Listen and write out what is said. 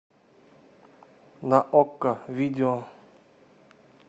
на окко видео